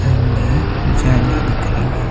सामने ही जालियां दिख रही है।